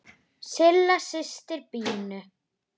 Silla systir Pínu.